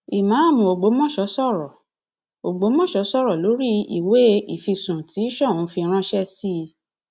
ìmáàmù ọgbọmọso sọrọ ọgbọmọso sọrọ lórí ìwé ìfisùn tí soun fi ránṣẹ sí i